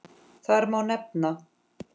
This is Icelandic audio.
Þar má nefna